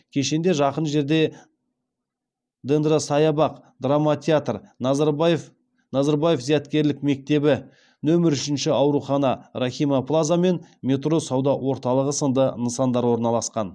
кешенде жақын жерде дендросаябақ драма театр назарбаев зияткерлік мектебі нөмір үшінші аурухана рахима плаза мен метро сауда орталығы сынды нысандар орналасқан